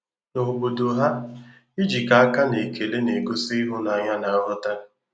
Na obodo ha, ijikọ aka na ekele na-egosi ịhụnanya na nghọta.